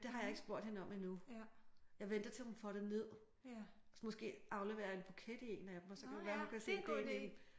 Det har jeg ikke spurgt hende om endnu. Jeg venter til hun får det ned. Måske afleverer jeg en buket i en af dem og så kan det være hun kan se den ideen i det